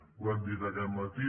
ho hem dit aquest matí